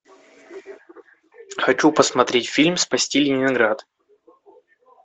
хочу посмотреть фильм спасти ленинград